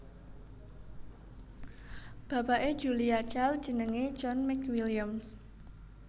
Bapake Julia Child jenenge John McWilliams